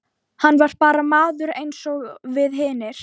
Hann var bara maður eins og við hinir.